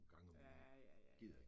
Ja, ja ja ja ja